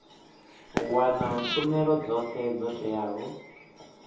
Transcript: wana tshumelo dzothe dzo teaho